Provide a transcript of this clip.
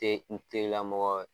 Te n terilamɔgɔ ye.